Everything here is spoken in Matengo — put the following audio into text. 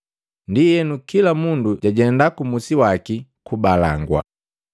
Ndienu, kila mundu jajenda kumusi waki kubalangwa.